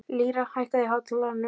Lýra, hækkaðu í hátalaranum.